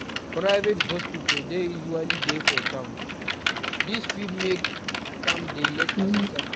Private hospital dey usually dey for town, this fit make am dey less accessible